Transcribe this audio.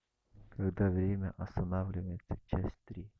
когда время останавливается часть три